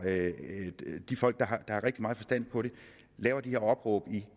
de folk der har rigtig meget forstand på det laver det her opråb